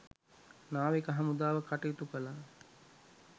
නාවික හමුදාව කටයුතු කළා